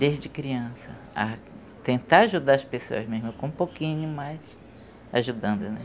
Desde criança, a tentar ajudar as pessoas mesmo, com um pouquinho mais, ajudando-as.